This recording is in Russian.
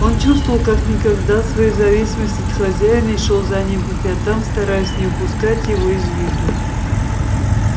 он чувствовал как никогда свою зависимость от хозяина и шёл за ним по пятам стараясь не упускать его из виду